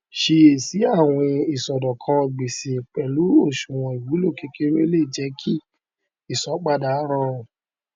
ṣíyèsí àwìn ìṣòdọkan gbèsè pẹlú oṣùwòn ìwúlò kékeré lè jẹ kí ìsanpadà rọrùn